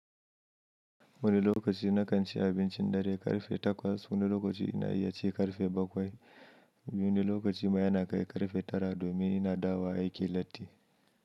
Wani lokaci na kan ci abincin dare ƙarfe takwas, wani lokaci na iya ci ƙarfe bakwai, wani lokaci ma yana kai ƙarfe tara domin ina dawowa aiki latti.